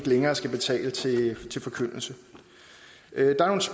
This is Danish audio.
længere skal betale til forkyndelse